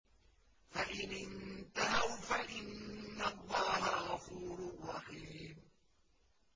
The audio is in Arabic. فَإِنِ انتَهَوْا فَإِنَّ اللَّهَ غَفُورٌ رَّحِيمٌ